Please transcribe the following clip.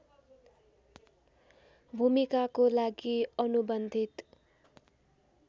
भूमिकाको लागि अनुबन्धित